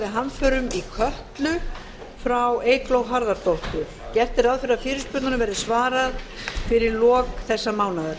hamförum í kötlu frá eygló harðardóttur gert er ráð fyrir að fyrirspurnunum verði svarað fyrir lok þessa mánaðar